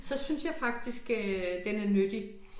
Så synes jeg faktisk øh den er nyttig